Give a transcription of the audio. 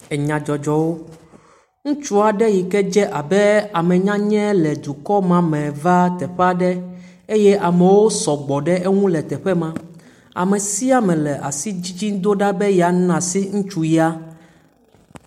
Enya dzɔdzɔ wò. Ŋutsu aɖe yike dze abe ame nyanya le dukɔ ma me va teƒe aɖe eye ame sɔgbɔ ɖe te ma. Ame sia ame le asi dzidzim ɖa be yana asi ŋutsu ya.